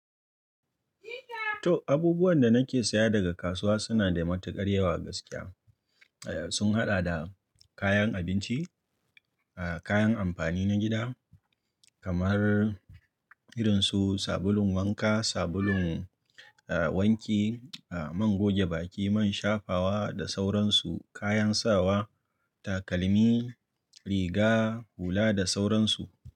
To, abubuwan da nake saya daga kasuwa suna da matuƙar yawa gaskiya. Eya, sun haɗa da kayan abinci, kayan amfani na gida kamar irin su sabulun wanka, sabulun wanki, man goge baki, man shafawa da sauran su, kayan sawa, takalmi, riga, hula da sauran su.